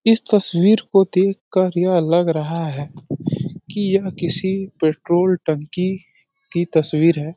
इस तस्वीर को देख कर यह लग रहा है कि यह किसी पेट्रोल टंकी की तस्वीर है।